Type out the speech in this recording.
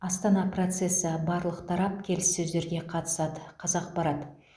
астана процесі барлық тарап келіссөздерге қатысады қазақпарат